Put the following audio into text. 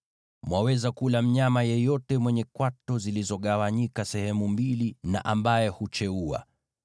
Mwaweza kula mnyama yeyote mwenye kwato zilizogawanyika sehemu mbili na ambaye hucheua.